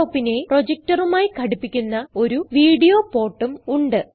laptopനെ projectorമായി ഘടിപ്പിക്കാൻ ഒരു വീഡിയോ portഉം ഉണ്ട്